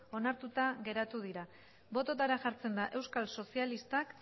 onartuta geratu dira bototara jartzen da euskal sozialistak